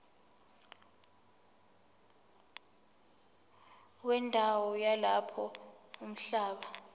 wendawo yalapho umhlaba